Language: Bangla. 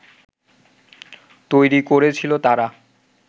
তৈরি করেছিল তারা